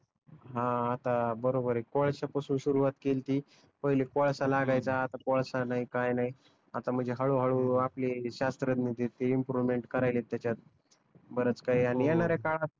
हा तर बरोबर आहे कोळश्या पासून सुरुवात केलती पहिले कोळसा लागायचा आता कोळसा नाही काही नाही आता म्हणजे हळू हळू आपले श्यास्त्रदन ते इम्प्रुव्हमेंट करायलेत त्याच्यात बरेच काही आणि येणाऱ्या काळात